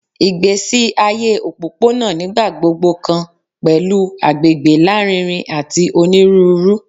Igbesi aye opopona nigbagbogbo kan pẹlu agbegbe larinrin ati oniruuru